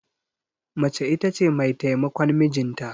Mace ita ce mai taimakon mijinta.